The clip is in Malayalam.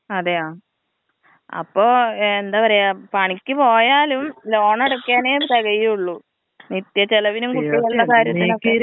അതെയോ അപ്പൊ എന്താ പറയാ പണിക്ക് പോയാലും ലോണടക്കാനെ തെകയുള്ളു നിത്യ ചെലവിനും കുട്ടികളുടെ കാര്യത്തിനൊക്കെ.